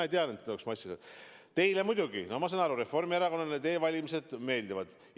Ma saan aru, et Reformierakonnale e-valimised muidugi meeldivad.